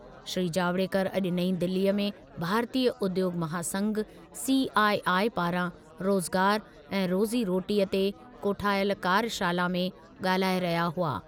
श्री जावडेकर अॼु नईं दिलीअ में भारतीय उद्योगु महासंघ, सीआईआई पारां रोज़गार ऐं रोज़ी रोटीअ ते कोठायल कार्यशाला में ॻाल्हाए रहिया हुआ।